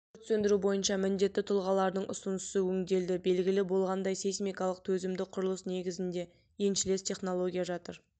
өрт сөндіру бойынша міндетті тұлғалардың ұсынысы өңделді белгілі болғандай сейсмикалық төзімді құрылыс негізінде еншілес технология жатыр